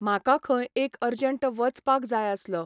म्हाका खंय एक अर्जंट वचपाक जाय आसलो.